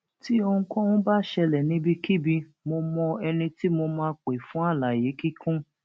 tí ohunkóhun bá ṣẹlẹ níbikíbi mo mọ ẹni tí mo máa pè fún àlàyé kíkún